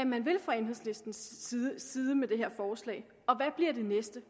man vil fra enhedslistens side med det her forslag og hvad bliver det næste